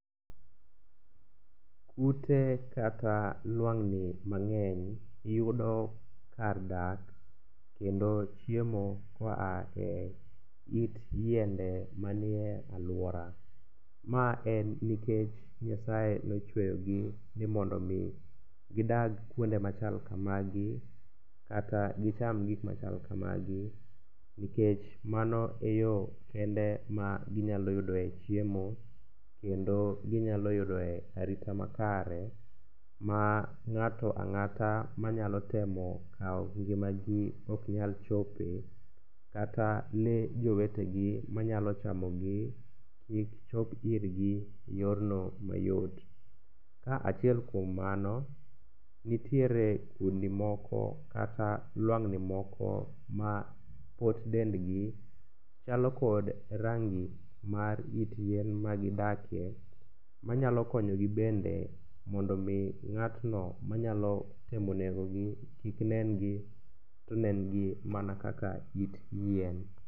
Kute kata lwang'ni mang'eny yudo kar dak kendo chiemo koa e it yiende manie alwora. Ma en nikech Nyasaye nochweyogi ni mondo omi gidak kuonde machal kamagi kata gicham gik machal kamagi nikech mano e yo kende maginyalo yudoe chiemo kendo ginyalo yudoe arita makare ma ng'ato ang'ata manyalo temo kawo ngimagi oknyal chope kata lee jowetegi manyalo chamogi kik chop irgi e yorno mayot. Ka achiel kuom mano, nitiere kudni moko kata lwang'ni moko ma pot dendgi chalo kod rangi mar it yien magidakie manyalo konyogi bende mondo omi ng'atno manyalo temo negogi kik nengi to nengi mana kaka it yien.